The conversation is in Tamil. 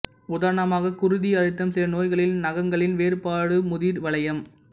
உதாரணமாக குருதி அழுத்தம் சில நோய்களில் நகங்களின் வேறுபாடு முதிர் வளையம்